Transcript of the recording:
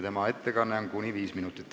Tema ettekanne on kuni viis minutit.